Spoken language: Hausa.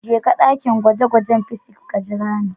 Jeka ɗakin gwaje-gwajen physics ka jira ni.